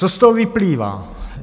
Co z toho vyplývá?